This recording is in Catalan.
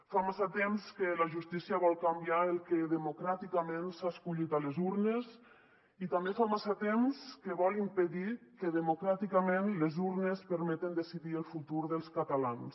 fa massa temps que la justícia vol canviar el que democràticament s’ha escollit a les urnes i també fa massa temps que vol impedir que democràticament les urnes permetin decidir el futur dels catalans